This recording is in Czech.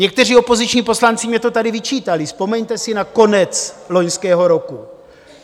Někteří opoziční poslanci mi to tady vyčítali, vzpomeňte si na konec loňského roku.